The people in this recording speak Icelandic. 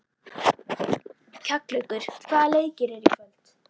Kjallakur, hvaða leikir eru í kvöld?